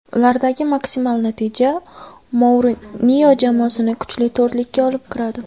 Ulardagi maksimal natija Mourinyo jamoasini kuchli to‘rtlikka olib kiradi.